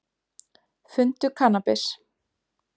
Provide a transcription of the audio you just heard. Fundu kannabis